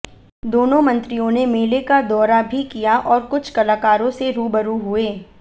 दोनों मंत्रियों ने मेले का दौरा भी किया और कुछ कलाकारों से रूबरू हुए